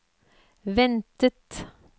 ventet